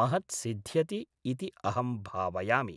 महत् सिद्ध्यति इति अहं भावयामि